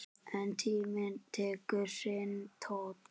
En tíminn tekur sinn toll.